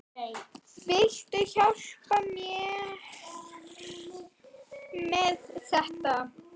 Viltu hjálpa mér með þetta?